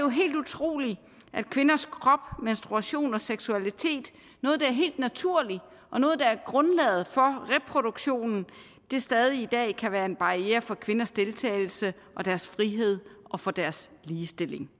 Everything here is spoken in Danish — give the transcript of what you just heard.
helt utroligt at kvinders krop menstruation og seksualitet noget der er helt naturligt noget der er grundlaget for reproduktionen stadig væk i dag kan være en barriere for kvinders deltagelse og deres frihed og for deres ligestilling